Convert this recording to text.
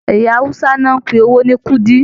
Ẹyà Hausa ní o n pé owó ní kúdí.